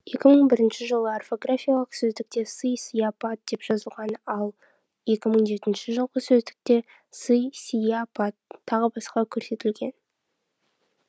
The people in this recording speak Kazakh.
екі мың бірінші жылғы орфографиялық сөздікте сый сыяпат деп жазылған ал екі мың жетінші жылғы сөздікте сый сияпат тағы басқа көрсетілген